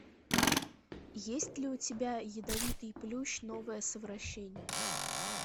есть ли у тебя ядовитый плющ новое совращение